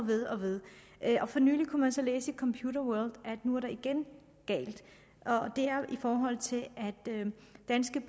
ved og ved for nylig kunne man så læse i computerworld at det nu igen er galt og det er jo i forhold til at danske